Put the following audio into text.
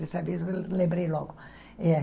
Dessa vez eu lembrei logo. É